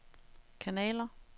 kanaler